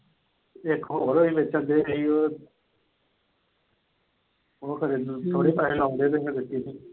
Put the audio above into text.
ਇੱਕ ਹੋਰ ਹਜੇ ਬੇਚੰਡੇ ਸੀ ਉਹ ਫਿਰ ਥੋੜੇ ਪੈਸੇ ਲਾਉਂਦੇ ਸੀ ਤੇ ਫਿਰ ਬੇਚੀ ਸੀ।